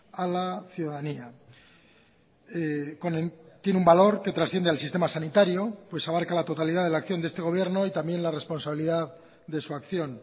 a la ciudadanía tiene un valor que trasciende al sistema sanitario pues abarca la totalidad de la acción de este gobierno y también la responsabilidad de su acción